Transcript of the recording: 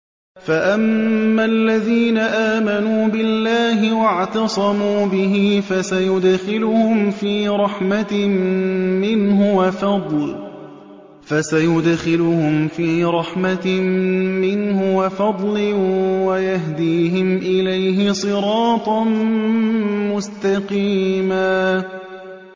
فَأَمَّا الَّذِينَ آمَنُوا بِاللَّهِ وَاعْتَصَمُوا بِهِ فَسَيُدْخِلُهُمْ فِي رَحْمَةٍ مِّنْهُ وَفَضْلٍ وَيَهْدِيهِمْ إِلَيْهِ صِرَاطًا مُّسْتَقِيمًا